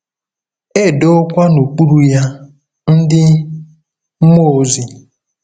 E “dowokwa n'okpuru ya” ndị mmụọ ozi.